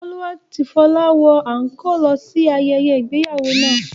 Olú àti Fọlá wọ àńkóò lọ sí ayẹyẹ ìgbéyàwó náà.